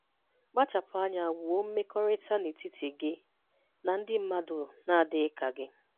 Kpachapụ anya wuo mmekọrịta n'etiti gị na ndị mmadụ na-adịghị ka gị.